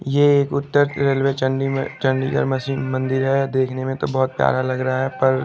ये एक उत्तर रेलवे चंदी में चंडीगढ़ में शुभ मंदिर हैं देखने में तो बहुत प्यारा लग रहा हैं पर--